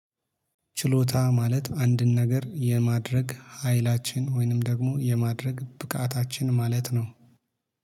ችሎታ ማለት አንድን ነገር የማድረግ ሀይላችን ወይንም ደግሞ የማድረግ ብቃታችን ማለት ነው።